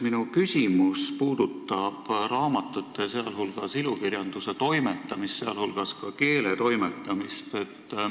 Minu küsimus puudutab raamatute, sh ilukirjanduse toimetamist ja ka keeletoimetamist.